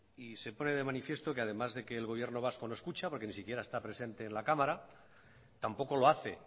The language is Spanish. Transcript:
y se pone de manifiesto que además de que el gobierno vasco no escucha porque ni siquiera está presente en la cámara tampoco lo hace